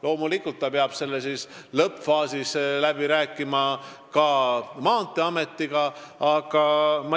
Loomulikult peab keskus otsustuste lõppfaasis läbi rääkima ka Maanteeametiga.